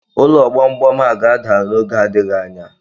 Ụlọ gbam gbam a ga-ada n'oge adịghị anya